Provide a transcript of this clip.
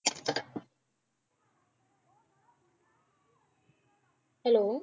Hello